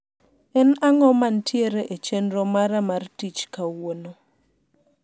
en ang`o mantiere e chenro mara mar tich kauono